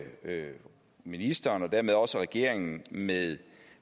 høre ministeren og dermed også regeringen med